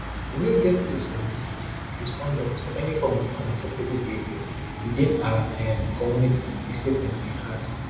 we no get place for indiscipline misconduct or any form of unacceptable behaviour within our um community di statement bin add